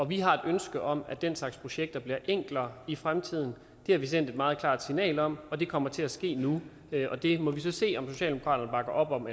vi har et ønske om at den slags projekter bliver enklere i fremtiden det har vi sendt et meget klart signal om og det kommer til at ske nu vi må så se om socialdemokraterne bakker op om